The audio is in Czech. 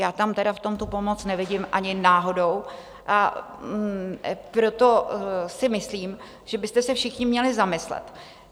Já tam tedy v tom tu pomoc nevidím ani náhodou, a proto si myslím, že byste se všichni měli zamyslet.